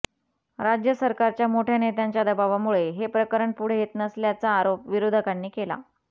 राज्य सरकारच्या मोठ्या नेत्यांच्या दबावामुळे हे प्रकरण पुढे येत नसल्याचा आरोप विरोधकांनी केला